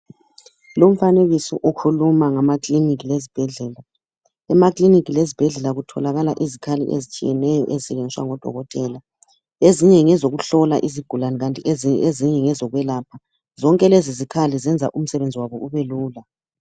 Lumfanekiso ukhuluma ngamakilinika lezibhedlela. Emakilinika lezibhedlela kutholakala izikhali ezitshiyeneyo ezisetshenziswa ngodokotela. Ezinye ngezokuhlola izigulane kanti ezinye ngezokwelapha. Zonke lezozikhali ezenza umsebenzi wabo ubelula.